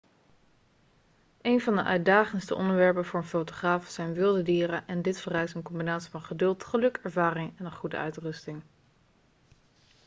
een van de uitdagendste onderwerpen voor een fotograaf zijn wilde dieren en dit vereist een combinatie van geduld geluk ervaring en een goede uitrusting